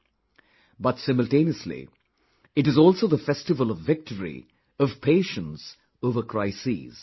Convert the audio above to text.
But, simultaneously, it is also the festival of victory of patience over crises